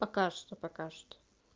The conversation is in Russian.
пока что пока что